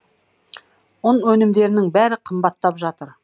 ұн өнімдерінің бәрі қымбаттап жатыр